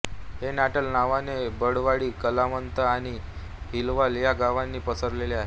हे नटाल नागवे बिदवाडी कलामाथ आणि हलवल या गावांनी पसरले आहे